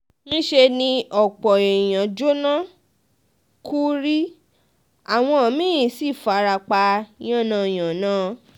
níṣẹ́ ni ọ̀pọ̀ um èèyànm jóná kú rí àwọn um mi-ín sì fara pa yánnayànna